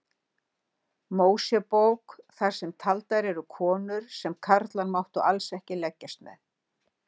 Mósebók þar sem taldar eru konur sem karlar máttu alls ekki leggjast með.